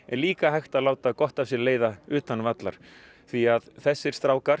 er líka hægt að láta gott af sér leiða utan vallar því að þessir strákar